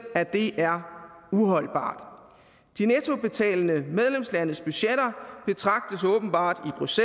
at det er uholdbart de nettobetalende medlemslandes budgetter betragtes åbenbart hos